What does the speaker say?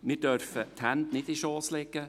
Wir dürfen die Hände nicht in den Schoss legen.